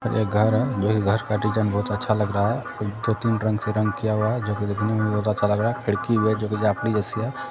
एक घर है जो ये घर का डिजाइन बहुत अच्छा लग रहा है दो तीन रंग से रंग किया हुआ हैं जोकि देखने मे बहुतअच्छा लगरहाहैखिड़की भी हैं जोकि जाफड़ी जैसी है।